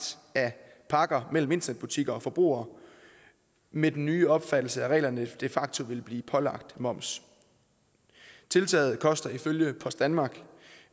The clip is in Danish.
af pakker mellem internetbutikker og forbrugere med den nye opfattelse af reglerne de facto vil blive pålagt moms tiltaget koster ifølge post danmark